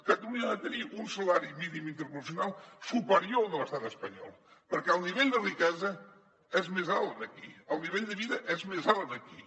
catalunya ha de tenir un salari mínim interprofessional superior al de l’estat espanyol perquè el nivell de riquesa és més alt aquí el nivell de vida és més alt aquí